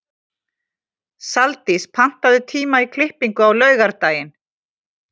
Saldís, pantaðu tíma í klippingu á laugardaginn.